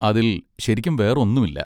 അതിൽ ശരിക്കും വേറൊന്നുമില്ല.